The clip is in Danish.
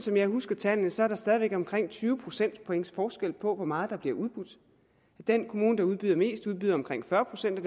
jeg husker tallene så er der stadig væk omkring tyve procentpoints forskel på hvor meget der bliver udbudt den kommune der udbyder mest udbyder omkring fyrre procent af